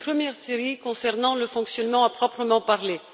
Une première série concernant le fonctionnement à proprement parler.